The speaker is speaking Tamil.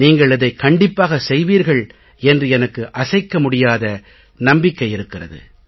நீங்கள் இதைக் கண்டிப்பாகச் செய்வீர்கள் என்று எனக்கு அசைக்க முடியாத நம்பிக்கை இருக்கிறது